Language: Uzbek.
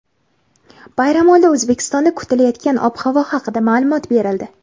Bayramoldi O‘zbekistonda kutilayotgan ob-havo haqida ma’lumot berildi.